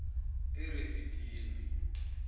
erifidini